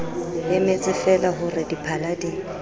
emetsefeela ho re diphala di